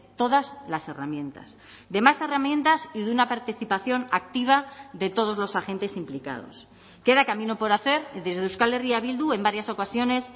todas las herramientas de más herramientas y de una participación activa de todos los agentes implicados queda camino por hacer y desde euskal herria bildu en varias ocasiones